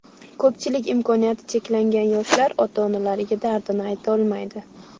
Ko‘pchilik imkoniyati cheklangan yoshlar ota-onalariga dardini aytolmaydi.